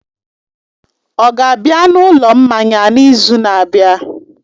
Ọ ga-abịa na ụlọ mmanya n'izu na-abịa?